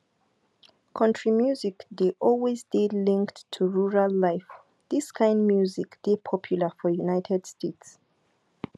country music dey always dey linked to rural life this kind of music dey popular for united stayes